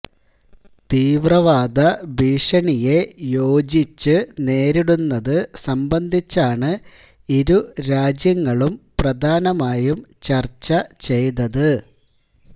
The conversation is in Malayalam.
തീവ്രവാദ ഭീഷണിയെ യോജിച്ചു നേരിടുന്നതു സംബന്ധിച്ചാണ് ഇരുരാജ്യങ്ങളും പ്രധാനമായും ചര്ച്ച ചെയ്തത്